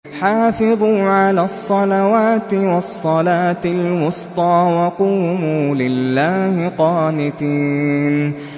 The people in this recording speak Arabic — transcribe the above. حَافِظُوا عَلَى الصَّلَوَاتِ وَالصَّلَاةِ الْوُسْطَىٰ وَقُومُوا لِلَّهِ قَانِتِينَ